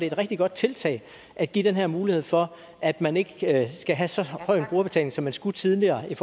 et rigtig godt tiltag at give den her mulighed for at man ikke skal have så høj en brugerbetaling som man skulle tidligere i